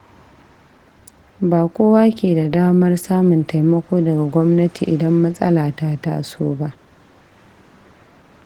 Ba kowa ke da damar samun taimako daga gwamnati idan matsala ta taso ba.